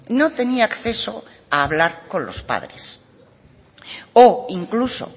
no tenía acceso a hablar con los padres o incluso